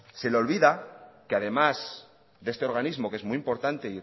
se le olvida que además de este organismo que es muy importante e